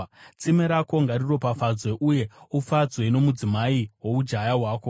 Tsime rako ngariropafadzwe, uye ufadzwe nomudzimai woujaya hwako.